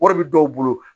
Wari bɛ dɔw bolo